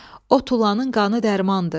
O tulanın qanı dərmandır.